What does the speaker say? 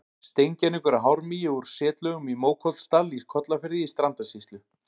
Steingervingur af hármýi úr setlögum í Mókollsdal í Kollafirði í Strandasýslu.